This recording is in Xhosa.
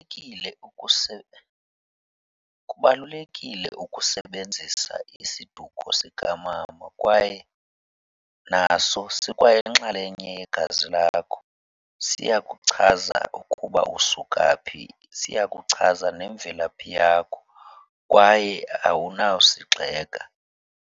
Kubalulekile ukusebenzisa isiduko sikamama kwaye naso sikwayinxalenye yegazi lakho. Siyakuchaza ukuba usuka phi, siyakuchaza nemvelaphi yakho kwaye awunawusigxeka.